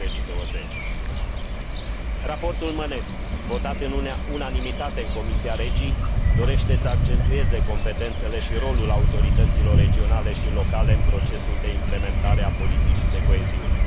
2020. Raportul Mănescu, votat în unanimitate în comisia REGI, dorește să accentueze competențele și rolul autorităților regionale și locale în procesul de implementare a politicii de coeziune.